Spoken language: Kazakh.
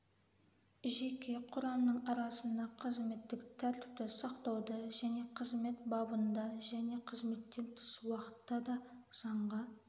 жеке құрамның арасында қызметтік тәртіпті сақтауда және қызмет бабында және қызметтен тыс уақытта да заңға